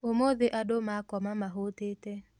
ũmũthĩ andũ makoma mahũtĩte